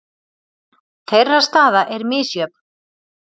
Þeirra staða er misjöfn.